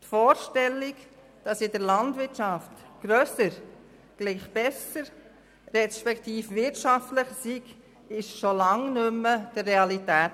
Die Vorstellung, dass in der Landwirtschaft grösser gleich besser beziehungsweise wirtschaftlicher ist, entspricht schon lange nicht mehr der Realität.